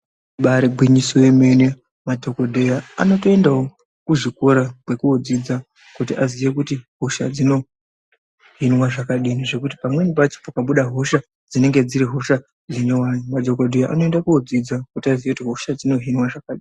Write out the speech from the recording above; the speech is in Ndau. Ibaari gwinyiso remene, madhokodheya anotoendawo kuzvikora kwekoodzidza ,kuti aziye kuti hosha dzinohinwa zvakadini zvekuti pamweni pacho, pakabuda hosha dzinenge dziri hosha dzinyowani, madhokodheya anoenda koodzidza kuti aziye kuti hosha dzinohinwa zvakadini.